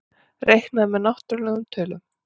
Reiknað með náttúrlegum tölum.